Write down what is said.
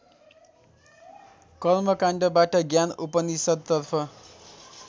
कर्मकान्डबाट ज्ञान उपनिषद्तर्फ